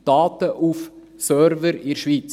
Daten auf Servern in der Schweiz.